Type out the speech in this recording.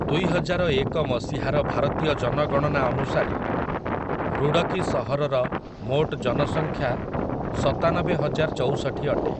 ଦୁଇହଜାରଏକ ମସିହାର ଭାରତୀୟ ଜନଗଣନା ଅନୁସାରେ, ଋଡ଼କୀ ସହରର ମୋଟ ଜନସଂଖ୍ୟା ସତାନବେହଜାରଚଉଷଠି ଅଟେ ।